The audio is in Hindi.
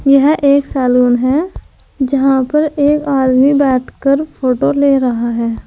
यह एक सैलून है जहां पर एक आदमी बैठकर फोटो ले रहा है।